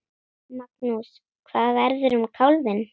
Magnús: Hvað verður um kálfinn?